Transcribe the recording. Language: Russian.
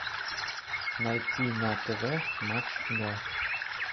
найти на тв матч игра